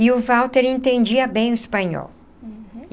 E o Walter entendia bem o espanhol.